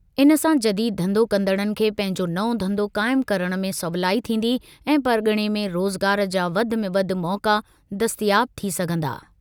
इन सां जदीद धंधो कंदड़नि खे पंहिंजो नओं धंधो क़ाइम करणु में सवलाई थींदी ऐं परग॒णे में रोज़गार जा वधि में वधि मौक़ा दस्तियाब थी सघिंदा।